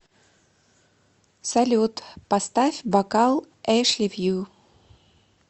салют поставь бокал эшливью